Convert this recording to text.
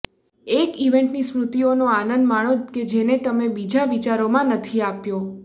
એક ઇવેન્ટની સ્મૃતિઓનો આનંદ માણો કે જેને તમે બીજા વિચારોમાં નથી આપ્યો